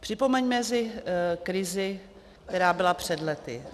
Připomeňme si krizi, která byla před lety.